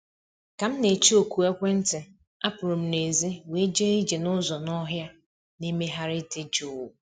Ka m na-eche oku ekwentị, apụrụ m n'èzí wee jee ije n’ụzọ n'ọhịa na-emegharị dị jụụ